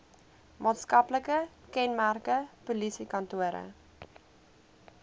maatskaplike kenmerke polisiekantore